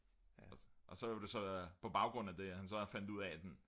og så var det jo så på baggrund af det at han så fandt ud af